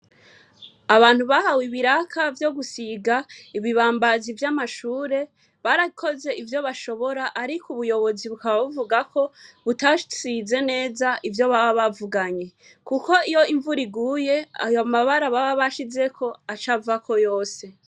Abantu bahawe ibiraka vyogusiga ibibambazi vyamashure barakoze ivyo bashobora ariko ubuyobozi bukaba buvugako butasize neza ivyo baba bavuganye, kuko iyo imvura iguye ayo mabara baba bashizeko acavako yose.